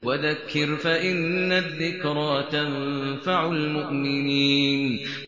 وَذَكِّرْ فَإِنَّ الذِّكْرَىٰ تَنفَعُ الْمُؤْمِنِينَ